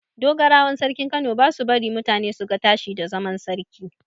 Dogarawan sarkin Kano ba su bari mutane su ga tashiwa da zaman sarki.